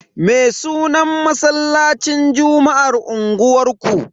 Me sunan masallacin juma'ar unguwanku?